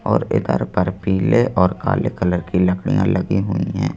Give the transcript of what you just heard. और इधर पर पीले और काले कलर की लकड़ियां लगी हुई हैं।